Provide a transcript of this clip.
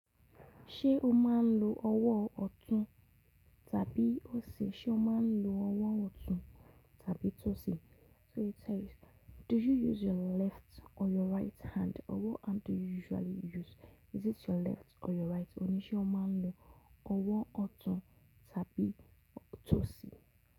Ṣé o máa ń lo ọwọ́ ọ̀tún tàbí òsì? Sé o máa ń lo ọwọ́ ọ̀tún tàbí tòsì? So it says, do you use your left or your right hand? Or what hand do you usually use? Is it your left or your right? Ó ní ṣé o máa ń lo ọwọ́ ọ̀tún tàbí tòsì.